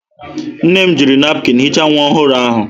Nne m jiri napụkịn hichaa nwa ọhụrụ ahụ.